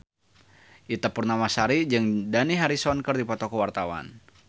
Ita Purnamasari jeung Dani Harrison keur dipoto ku wartawan